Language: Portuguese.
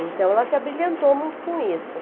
Então, ela se abrilhantou muito com isso.